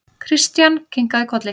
Christian kinkaði kolli.